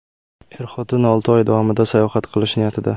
Er-xotin olti oy davomida sayohat qilish niyatida.